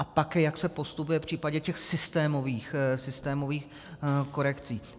A pak jak se postupuje v případě těch systémových korekcí.